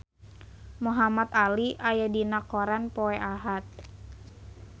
Muhamad Ali aya dina koran poe Ahad